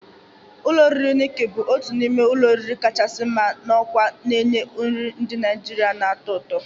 Ụlọ oriri Nikki bụ otu n'ime ụlọ oriri kachasị mma na Awka na-enye nri ndị Naijiria na-atọ ụtọ.